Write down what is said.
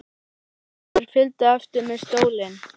Brynjólfur fylgdi á eftir með stólinn.